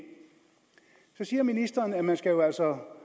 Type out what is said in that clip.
så siger ministeren at man jo altså